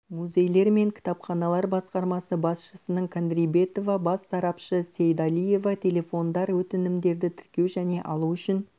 музейлер мен кітапханалар басқармасы басшысының кадримбетова бас сарапшы сеидалиева телефондар өтінімдерді тіркеу және алу үшін